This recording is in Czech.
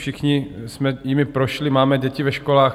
Všichni jsme jimi prošli, máme děti ve školách.